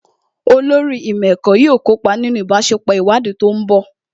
Olórí ìmọ̀ ẹ̀kọ́ yóò kópa nínú ìbáṣepọ̀ ìwádìí tó ń bọ̀